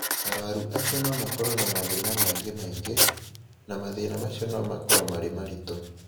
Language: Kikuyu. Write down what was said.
Arũaru acio no makorũo na mathĩna mangĩ maingĩ, na mathĩna macio no makorũo marĩ maritũ.